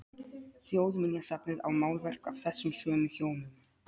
Þjóðminjasafnið á málverk af þessum sömu hjónum.